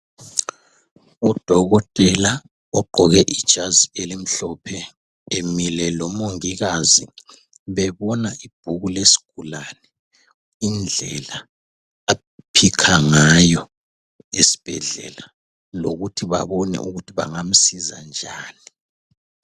Udokotela ogqoke ijazi elimhlophe emile lomongikazi bebona ibhuku lesigulane indlela a "picker" ngayo esibhedlela lokuthi babone ukuthi bangamnceda njani.